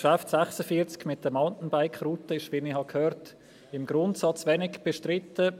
Das Traktandum 46 mit den Moutainbike-Routen ist, wie ich gehört habe, im Grundsatz wenig bestritten.